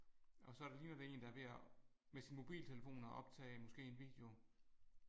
Og så ligner det en der er ved at med sin mobiltelefon at optage måske en video